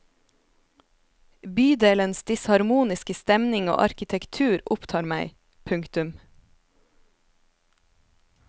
Bydelens disharmoniske stemning og arkitektur opptar meg. punktum